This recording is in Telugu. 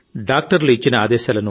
ఈ వైపరిత్యం నుంచి దేశ బయటపడాలి